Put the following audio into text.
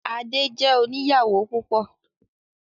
Adé jẹ́ oníyàwó púpọ̀.